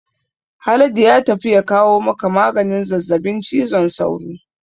Haladu ya tafi ya kawo maka maganin zazzabin cizon sauron